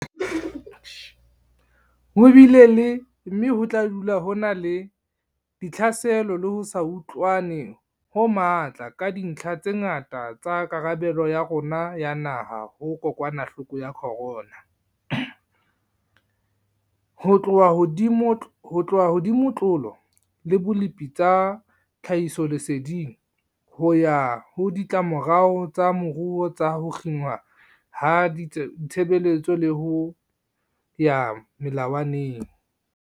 Ho bile le, mme ho tla dula ho na le, ditlhaselo le ho se utlwane ho matla ka dintlha tse ngata tsa karabelo ya rona ya naha ho kokwanahloko ya corona, ho tloha ho dimotlolo le bolepi tsa tlhahisoleseding, ho ya ho ditlamorao tsa moruo tsa ho kginwa ha ditshebeletso le ho ya melawaneng.